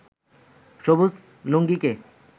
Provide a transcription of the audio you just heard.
সবুজ লুঙ্গিকে